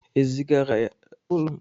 Ezigara ya ụlọ mkpọrọ maka ohi egbe